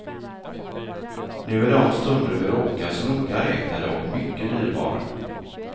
Nu är de stunder vi råkas noga räknade och mycket dyrbara.